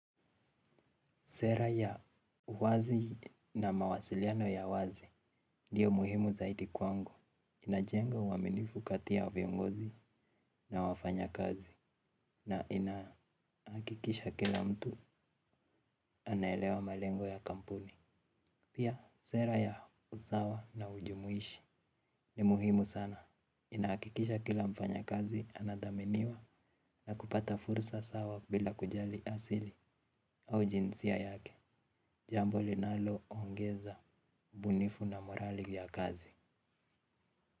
Sera ya uwazi na mawasiliano ya wazi ndiyo muhimu zaiti kwangu. Inajenga uaminifu kati ya viongozi na wafanya kazi na inakikisha kila mtu anaelewa malengo ya kampuni. Pia sera ya usawa na ujumuishi ni muhimu sana. Inakikisha kila mfanya kazi anadaminiwa na kupata fursa sawa bila kujali asili au jinsia yake. Jambo linalo ongeza ubunifu na morali ya kazi.